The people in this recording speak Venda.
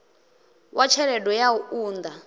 wa tshelede ya u unḓa